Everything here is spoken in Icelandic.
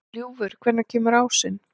Ljúfur, hvenær kemur ásinn?